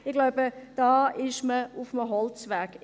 Ich glaube, da ist man auf einem Holzweg.